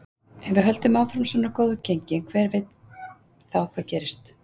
Ef við höldum áfram svona góðu gengi, hver veit þá hvað gerist?